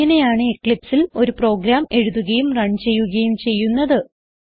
ഇങ്ങനെയാണ് eclipseൽ ഒരു പ്രോഗ്രാം എഴുതുകയും റൺ ചെയ്യുകയും ചെയ്യുന്നത്